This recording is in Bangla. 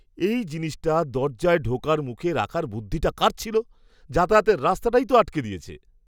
এই জিনিসটা দরজায় ঢোকার মুখে রাখার বুদ্ধিটা কার ছিল? যাতায়াতের রাস্তাটাই তো আটকে দিয়েছে।